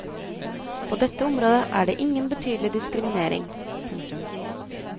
På dette området er det ingen betydelig diskriminering. punktum